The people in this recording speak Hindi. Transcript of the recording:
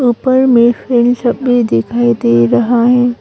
ऊपर मे फैन सब भी दिखाई दे रहा है।